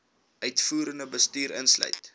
uitvoerende bestuur insluit